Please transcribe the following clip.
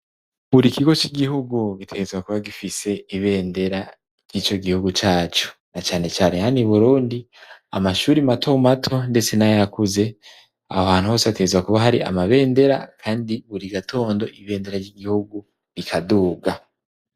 Buri kigo c'igihugu gitegerezwa kuba gifise ibendera ry'ico gihugu cacu; na cane care hano i Burundi amashuri mato mato ndetse n'ayakuze aho hantu hose bategerezwa kuba hari amabendera kandi buri gatondo ibendera ry'igihugu rikaduga.